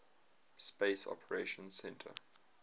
space operations centre